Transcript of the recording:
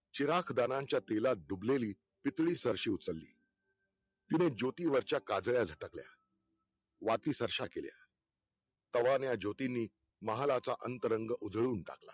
चिराग दारांच्या तेलात डुबलेली पितळी सरशी उचलली तिने ज्योती वरच्या काजळ्या झटकल्या वाती सर्श्या केल्या कावर्या ज्योतींनी महालाचा अंतरंग उजळून टाकला